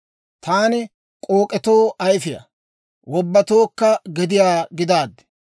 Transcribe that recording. Taani k'ook'etoo ayifiyaa, wobbatuwaa gediyaa gidaaddi.